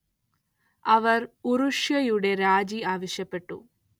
അവർ ഉറുഷ്യയുടെ രാജി ആവശ്യപ്പെട്ടു.